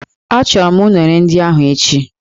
Achọrọ m unere ndị ahụ echi